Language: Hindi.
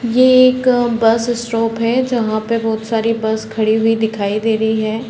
ये एक अ बस स्टॉप है जहाँ पे बहुत सारी बस खड़ी हुई दिखाई दे रही है।